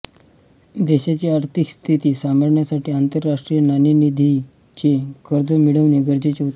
देशाची आर्थिक स्थिती सांभाळण्यासाठी आंतरराष्ट्रीय नाणेनिधीचे कर्ज मिळवणे गरजेचे होते